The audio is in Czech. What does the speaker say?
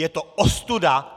Je to ostuda!